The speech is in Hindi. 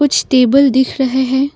कुछ टेबल दिख रहे हैं।